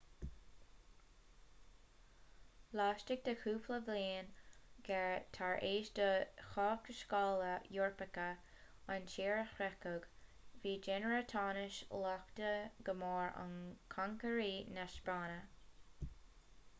laistigh de chúpla bliain ghearr tar éis do thaiscéalaithe eorpacha an tír a shroicheadh bhí daonra tainos laghdaithe go mór ag concairí na spáinne